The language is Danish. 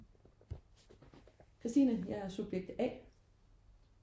Christine. Jeg er subjekt A